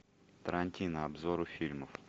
тарантино обзор фильмов